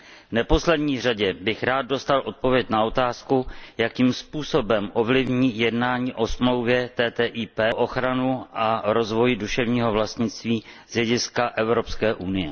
V neposlední řadě bych rád dostal odpověď na otázku, jakým způsobem ovlivní jednání o smlouvě TTIP ochranu a rozvoj duševního vlastnictví z hlediska EU.